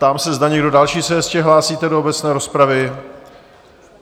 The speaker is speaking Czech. Ptám se, zda někdo další se ještě hlásíte do obecné rozpravy?